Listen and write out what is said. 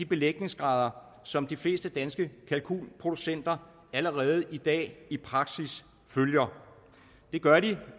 belægningsgrad som de fleste danske kalkunproducenter allerede i dag i praksis følger det gør den